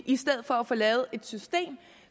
i stedet for at få lavet et system